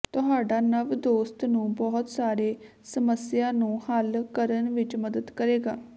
ਤੁਹਾਡਾ ਨਵ ਦੋਸਤ ਨੂੰ ਬਹੁਤ ਸਾਰੇ ਸਮੱਸਿਆ ਨੂੰ ਹੱਲ ਕਰਨ ਵਿੱਚ ਮਦਦ ਕਰੇਗਾ